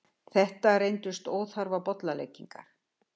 Þetta reyndust óþarfar bollaleggingar.